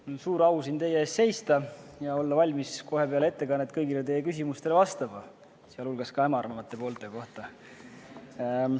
Mul on suur au siin teie ees seista ja olla valmis kohe peale ettekannet kõigile teie küsimustele vastama, sealhulgas hämaramate poolte kohta käivatele.